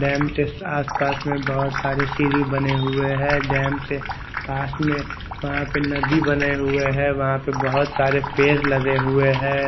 Dam के आस पास में बहोत सारी सीढ़ी बने हुए है डैम के पास में वहा पर नदी बने हुए है वहा पर बहोत सारे पेड़ लगे हुए है।